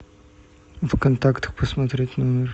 в контактах посмотреть номер